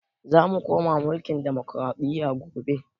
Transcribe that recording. Zamu koma mulkin ɗamokraɗiya gobe